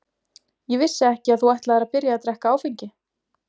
Ég vissi ekki að þú ætlaðir að byrja að drekka áfengi.